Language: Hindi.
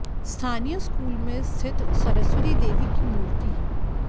स्थानीय स्कूल में स्थित सरस्वती देवी की मूर्ति